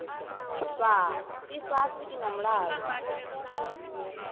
fhaa ifhasi i na mulalo